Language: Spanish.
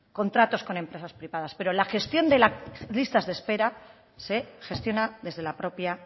contratos con empresas privadas pero la gestión de las listas de espera se gestiona desde la propia